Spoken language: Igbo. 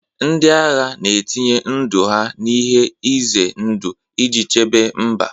Ndị agha na-etinye ndụ ha n'ihe ize ndụ iji chebe mba.